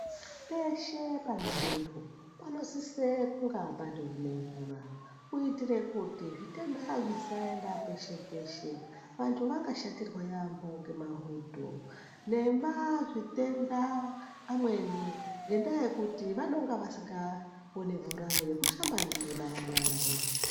Peshe pane muntu ,panosise kunga pandori nemvura, kuiitire kuti zvitenda zvisaenda peshe -peshe. Vantu vangashatirwa yaampho ngemahudho ,nemazvitenda amweni, ngendaa yekuti vanonga vasingaoni mvura yekushamba ndiyona nyara.